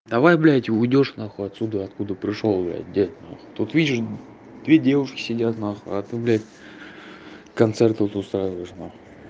давай блядь уйдёшь нахуй отсюда откуда пришёл бля дед нахуй тут видишь две девушки сидят на хуй а то блядь концерт тут устраиваешь нахуй